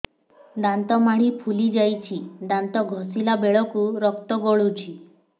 ଦାନ୍ତ ମାଢ଼ୀ ଫୁଲି ଯାଉଛି ଦାନ୍ତ ଘଷିଲା ବେଳକୁ ରକ୍ତ ଗଳୁଛି